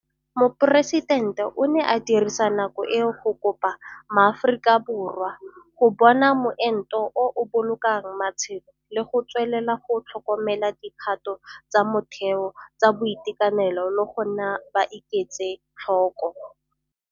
Moporesidente o ne a dirisa nako eo go kopa MaAforika Borwa go bona moento o o bolokang matshelo le go tswelela go tlhokomela dikgato tsa motheo tsa boitekanelo le go nna ba iketse tlhoko.